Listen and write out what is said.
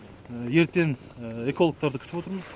ертен экологтарды күтіп отырмыз